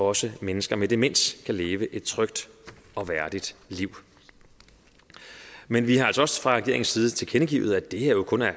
også mennesker med demens kan leve et trygt og værdigt liv men vi har altså også fra regeringens side tilkendegivet er det her jo kun er